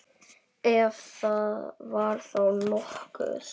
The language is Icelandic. Ef það var þá nokkuð.